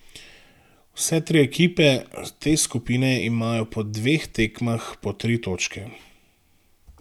Vse tri ekipe te skupine imajo po dveh tekmah po tri točke.